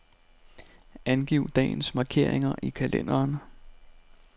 Angiv dagens markeringer i kalenderen.